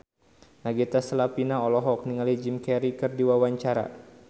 Nagita Slavina olohok ningali Jim Carey keur diwawancara